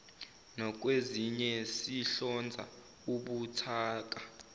nakwezinye sihlonza ubuthaka